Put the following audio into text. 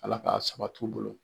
Ala k'a sabat'u bolo